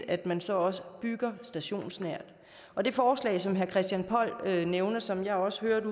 at man så også bygger stationsnært og det forslag som herre christian poll nævnte og som jeg også hørte